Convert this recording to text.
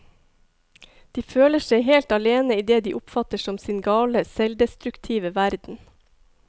De føler seg helt alene i det de oppfatter som sin gale, selvdestruktive verden.